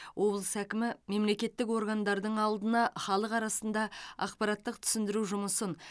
облыс әкімі мемлекеттік органдардың алдына халық арасында ақпараттық түсіндіру жұмысын